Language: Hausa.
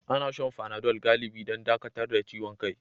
Ana shan fanadol galibi don dakatar da ciwon kai.